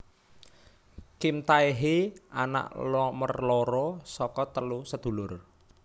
Kim Tae hee anak nomor loro saka telu sedulur